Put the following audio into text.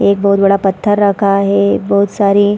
एक बहोत बड़ा पत्थर रखा है बहोत सारी --